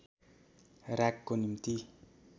रागको निम्ति